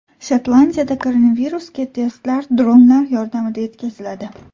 Shotlandiyada koronavirusga testlar dronlar yordamida yetkaziladi.